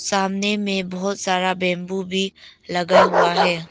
सामने में बहुत सारा बंबू भी लगा हुआ है।